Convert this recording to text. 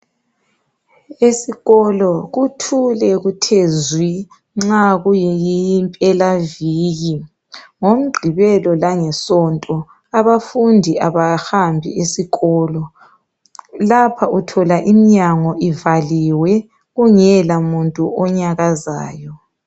Esikolo kuthule kuthe zwi nxa kuyimpelaviki ngoMgqibelo langeSonto abafundi abahambi esikolo lapha uthola iminyanyo ivaliwe kungela muntu onyakazayo.